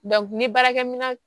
ni baarakɛminɛn